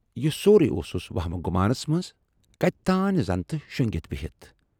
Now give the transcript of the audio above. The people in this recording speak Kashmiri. یہِ سورُے اوسُس ؤہمہِ گُمانس منز کتہِ تانۍ زَنتہِ شۅنگِتھ بِہِتھ۔